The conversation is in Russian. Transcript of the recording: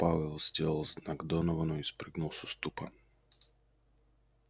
пауэлл сделал знак доновану и спрыгнул с уступа